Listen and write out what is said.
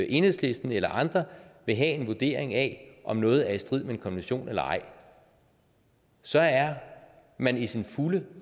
enhedslisten eller andre vil have en vurdering af om noget er i strid med en konvention eller ej så er man i sin fulde